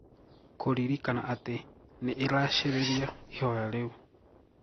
Kũririkana ati nĩĩrashĩrĩria ihoya riu.